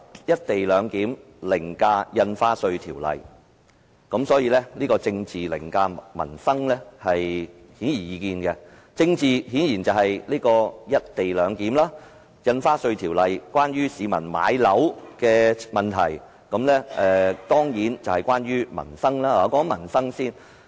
"一地兩檢"凌駕《條例草案》，政治凌駕民生顯而易見，政治顯然就是"一地兩檢"，《條例草案》關乎市民買樓的問題，是民生問題。